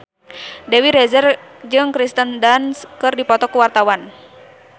Dewi Rezer jeung Kirsten Dunst keur dipoto ku wartawan